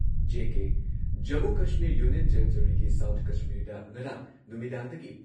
JK Jammu Kashmir union ꯇꯦꯔꯤꯇꯣꯔꯤꯒꯤ south ꯀꯥꯁꯃꯤꯔꯗ ꯉꯔꯥꯡ ꯅꯨꯃꯤꯗꯥꯡꯗꯒꯤ